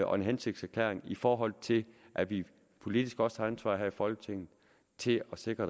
og en hensigtserklæring i forhold til at vi politisk også har ansvar her i folketinget til at sikre